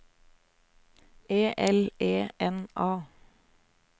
E L E N A